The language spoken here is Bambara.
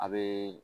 A bee